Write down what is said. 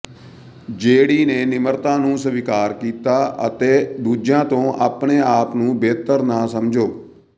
ਜੇਡੀ ਨੇ ਨਿਮਰਤਾ ਨੂੰ ਸਵੀਕਾਰ ਕੀਤਾ ਅਤੇ ਦੂਜਿਆਂ ਤੋਂ ਆਪਣੇ ਆਪ ਨੂੰ ਬਿਹਤਰ ਨਾ ਸਮਝੋ